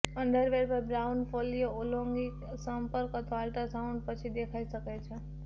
underwear પર brown ફોલ્લીઓ લૈંગિક સંપર્ક અથવા અલ્ટ્રાસાઉન્ડ પછી દેખાઈ શકે છે